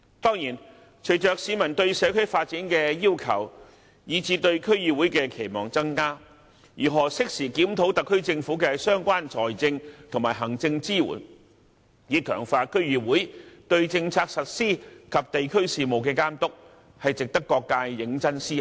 當然，隨着市民對社區發展的要求以至對區議會的期望增加，如何適時檢討特區政府的相關財政和行政支援，以強化區議會對政策實施及地區事務的監督，值得各界認真思考。